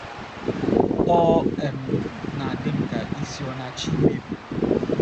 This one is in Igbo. ” Ọ um na - adị m ka isi ọ̀ na - achọ imebi m. ”